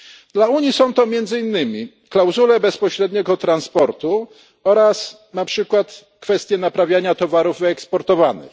Dla Unii są to między innymi klauzule bezpośredniego transportu oraz kwestie naprawiania towarów wyeksportowanych.